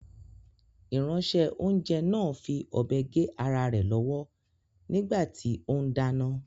Ìránṣẹ́-oúnjẹ náà fi ọ̀bẹ gé ara rẹ̀ lọ́wọ́ nígbà tí ó ń dáná.